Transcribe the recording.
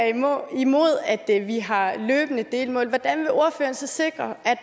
imod at vi har løbende delmål hvordan vil ordføreren så sikre at